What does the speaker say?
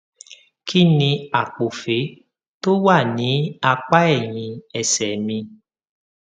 kí ni àpòfé tó wà ní apá ẹyìn ẹsè mi